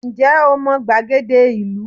Ǹ jé o mo gbàgede ìlú